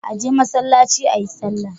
Aje masallaci ayi sallah